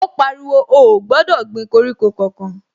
Ó pariwo, ó ò gbọ́dọ̀ gbin koríko kankan